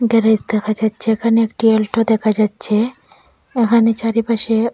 garage দেখা যাচ্ছে এখানে একটি অলটো দেখা যাচ্ছে এখানে চারিপাশে--